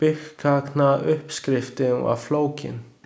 Byggkaknauppskriftin var flókin.